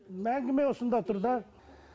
әңгіме осында тұр да